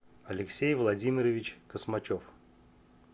алексей владимирович космачев